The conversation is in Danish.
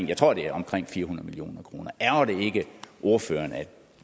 jeg tror det er omkring fire hundrede million kroner ærgrer det ikke ordføreren at